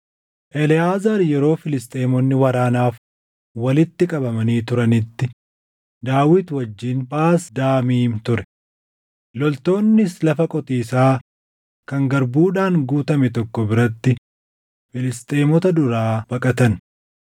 Eleʼaazaar yeroo Filisxeemonni waraanaaf walitti qabamanii turanitti Daawit wajjin Phaas Damiim ture. Loltoonnis lafa qotiisaa kan garbuudhaan guutame tokko biratti Filisxeemota duraa baqatan.